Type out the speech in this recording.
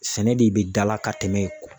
Sɛnɛ de bɛ dala ka tɛmɛ